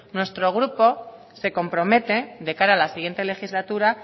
nuestro grupo se compromete de cara a la siguiente legislatura